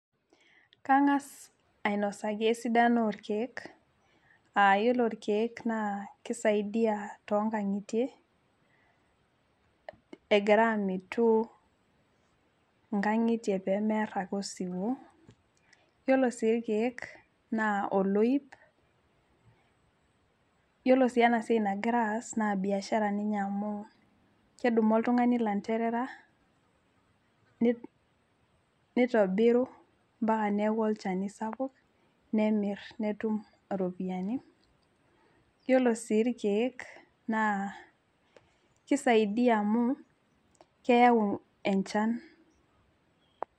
Kangas ainosaki esidano orkiek iyiolo rkiek kisaidia tonkangitie egira amitu nkangitie pemear ake osiwuo yiolo sii irkiek na oloip yiolo si enasia nagirai aas na biashara amu kedumu oltungani landerera neitobiru ambaka neakubolchani sapuk nemir netum iropiyiani yiolo si irkiek na kisaidia amu keyau enchan.